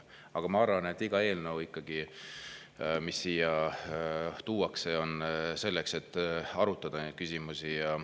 Aga ma arvan, et iga eelnõu, mis siia tuuakse, on selleks, et arutada neid küsimusi.